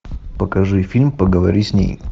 покажи фильм поговори с ней